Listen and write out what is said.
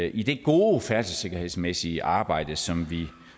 i det gode færdselssikkerhedsmæssige arbejde som